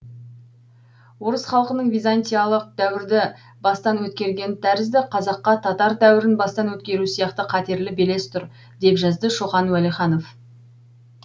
орыс халқының византиялық дәуірді бастан өткергені тәрізді қазаққа татар дәуірін бастан өткеру сияқты қатерлі белес тұр деп жазды шоқан уәлиханов